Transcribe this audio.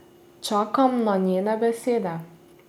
Čakam na njene besede.